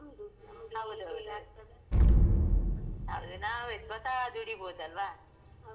ಅದು ನಾವೇ ಸ್ವತಃ ದುಡಿಬಹುದಲ್ವಾ ನಮ್ಮದು ನಾವೇ owner ಅದ್ರದ್ದು ಹಾಗೆ.